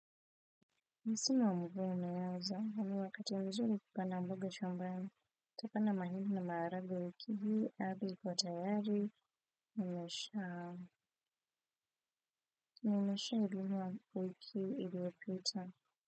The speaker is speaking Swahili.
Msimu wa mvua umeanza na ni wakati mzuri kupanda mboga shambani nitapanda mahindi na maharagwe nimeshainunua wiki iliyopita.